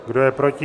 Kdo je proti?